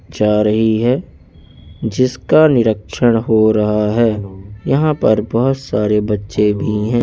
जा रही है जिसका निरीक्षण हो रहा है यहां पर बहोत सारे बच्चे भी है।